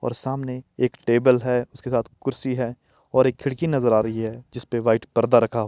और सामने एक टेबल है उसके साथ कुर्सी है और एक खिड़की नजर आ रही है जिस पे व्हाइट पर्दा रखा --